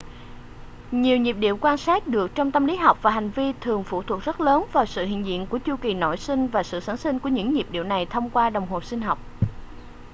nhiều nhịp điệu quan sát được trong tâm lý học và hành vi thường phụ thuộc rất lớn vào sự hiện diện của chu kỳ nội sinh và sự sản sinh của những nhịp điệu này thông qua đồng hồ sinh học